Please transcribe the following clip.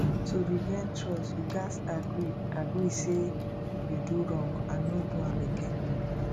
to regain trust yu gats agree agree say yu do wrong and no do am again